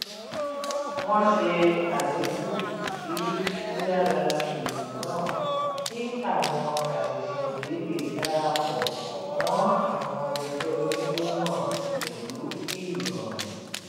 wọ́n ṣe àdínkù sí yíyára ìlù náà kí àwọn àṣẹ̀ṣẹ̀dé lè dara pọ̀ mọ́ àwọn ẹgbẹ́ oníjó náà pẹ̀lú irọrun